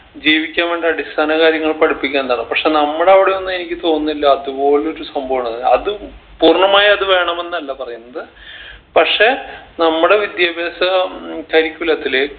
ജീവിക്കാൻ വേണ്ട അടിസ്ഥാന കാര്യങ്ങൾ പഠിപ്പിക്കേണ്ടതാ പക്ഷെ നമ്മടെ അവിടെയൊന്നും എനിക്ക് തോന്നില്ല അതുപോലൊരു സംഭവാണ് അത് പൂർണ്ണമായി അത് വേണമെന്നല്ല പറയുന്നത് പക്ഷെ നമ്മടെ വിദ്യാഭ്യാസ ഉം curriculum ത്തില്